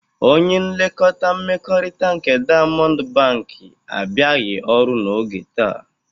Onye nlekọkta mmekọrịta nke Diamọndụ Bankị abịaghị ọrụ n'oge taa.